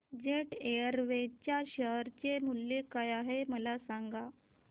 jet Airways च्या share चे मूल्य काय आहे मला सांगा